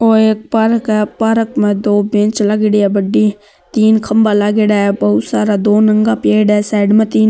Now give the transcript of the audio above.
ओ एक पार्क है पार्क में दो बेंच लगड़ी है बड़ी तीन खम्भा लागेड़ा है बहुत सारा दो नंगा पेड़ है साइड में तीन --